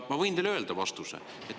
Ma võin teile öelda vastuse.